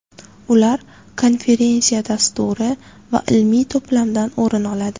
Ular konferensiya dasturi va ilmiy to‘plamdan o‘rin oladi.